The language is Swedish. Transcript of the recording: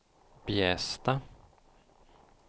Bjästa